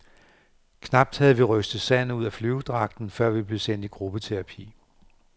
Knap havde vi rystet sandet ud af flyverdragten, før vi blev sendt i gruppeterapi.